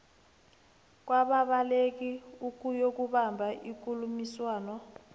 kwababaleki ukuyokubamba ikulumiswano